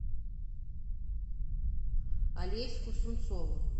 алеську сунцову